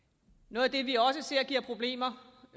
noget af det vi også ser giver problemer